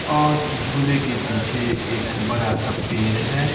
और झूले के पीछे एक बड़ा सा पेड़ है।